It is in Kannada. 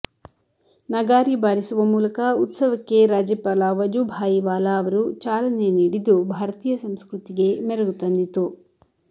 ನಗಾರಿ ಬಾರಿಸುವ ಮೂಲಕ ಉತ್ಸವಕ್ಕೆ ರಾಜ್ಯಪಾಲ ವಜುಭಾಯಿ ವಾಲಾ ಅವರು ಚಾಲನೆ ನೀಡಿದ್ದು ಭಾರತೀಯ ಸಂಸ್ಕೃತಿಗೆ ಮೆರಗು ತಂದಿತು